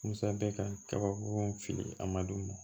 Musa bɛ ka kabako fili a man d'u ma